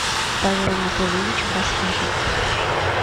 павел анатольевич баскаков